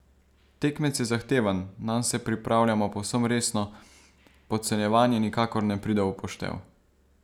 Tekmec je zahteven, nanj se pripravljamo povsem resno, podcenjevanje nikakor ne pride v poštev.